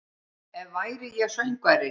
Ef væri ég söngvari